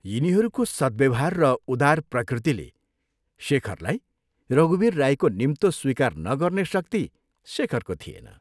यिनीहरूको सत्व्यवहार र उदार प्रकृतिले शेखरलाई रघुवीर राईको निम्तो स्वीकार नगर्ने शक्ति शेखरको थिएन।